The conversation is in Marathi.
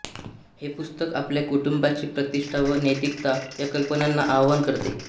हे पुस्तक आपल्या कुटुंबाची प्रतिष्ठा व नैतिकता या कल्पनांना आव्हान करते